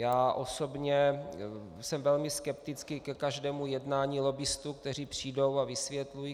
Já osobně jsem velmi skeptický ke každému jednání lobbistů, kteří přijdou a vysvětlují.